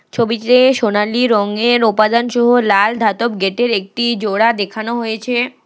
ছবিটিতে সোনালী রঙের উপাদানসহ লাল ধাতব গেটের একটি জোড়া দেখানো হয়েছে।